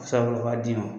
Sabu u b'a d'i ma